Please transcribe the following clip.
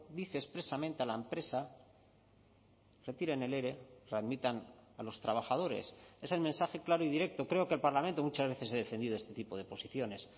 dice expresamente a la empresa retiren el ere readmitan a los trabajadores es el mensaje claro y directo creo que el parlamento muchas veces ha defendido este tipo de posiciones